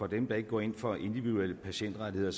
dem der ikke går ind for individuelle patientrettigheder